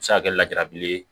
A bɛ se ka kɛ lajarabile ye